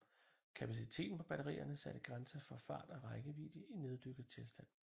Kapaciteten på batterierne satte grænser for fart og rækkevidde i neddykket tilstand